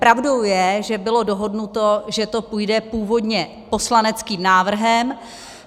Pravdou je, že bylo dohodnuto, že to půjde původně poslaneckým návrhem.